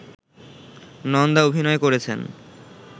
নন্দা অভিনয় করেছেন